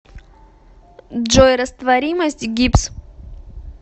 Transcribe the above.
джой растворимость гипс